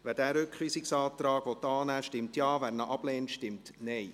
Wer diesen Rückweisungsantrag annehmen will, stimmt Ja, wer ihn ablehnt, stimmt Nein.